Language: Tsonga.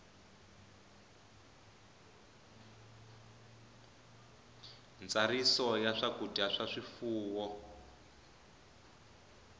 ntsariso ya swakudya swa swifuwo